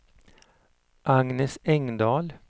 Agnes Engdahl